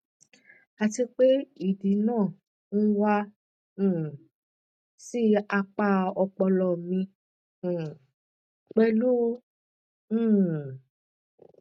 àti pé ìdì náà ń wá um sí apá ọpọlọ mi um pẹlú um